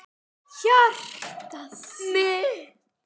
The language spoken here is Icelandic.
Hjartað mitt,